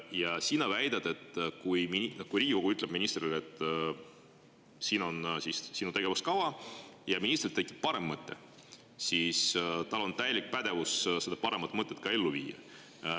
Aga sina väidad, et kui Riigikogu ütleb ministrile, et siin on sinu tegevuskava, ja ministril tekib parem mõte, siis tal on täielik pädevus seda paremat mõtet ka ellu viia.